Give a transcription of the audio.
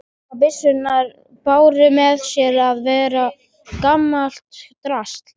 Sumar byssurnar báru með sér að vera gamalt drasl.